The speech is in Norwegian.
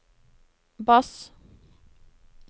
bass